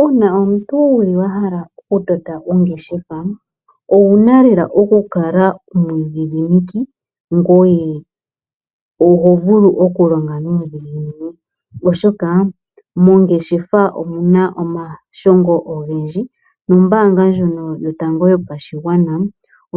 Uuna omuntu wuli wahala okutota ongeshefa owuna okukala omwiidhidhimiki ngoye oho longo nuudhigu oshoka mongeshefa omuna omashongo ogendji. Ombaanga ndjono yotango yopashigwana